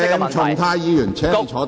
鄭松泰議員，請坐下。